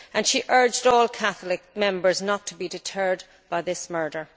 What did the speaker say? She urged all Catholics not to be deterred by this murder.